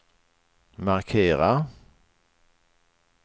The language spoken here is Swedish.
markera